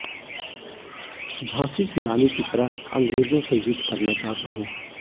झांसी की रानी की तरह अंग्रेजों से युद्ध करना चाहता हूं